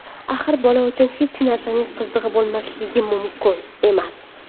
Axir bola uchun hech narsaning qizig‘i bo‘lmasligi mumkin emas.